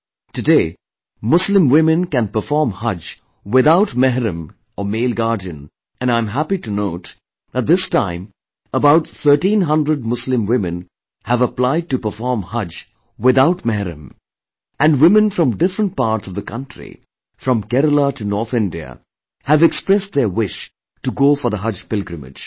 Today, Muslim women can perform Haj without 'mahram' or male Guardian and I am happy to note that this time about thirteen hundred Muslim women have applied to perform Haj without 'mahram' and women from different parts of the country from Kerala to North India, have expressed their wish to go for the Haj pilgrimage